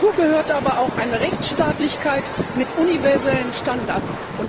Dazu gehört aber auch eine Rechtsstaatlichkeit mit universellen Standards.